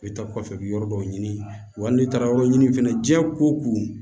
I bɛ taa kɔfɛ bi yɔrɔ dɔw ɲini wa n'i taara yɔrɔ ɲini fɛnɛ diɲɛ ko